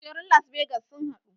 Kujerun las vegas sun haɗu